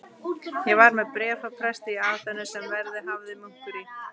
Ég var með bréf frá presti í Aþenu, sem verið hafði munkur í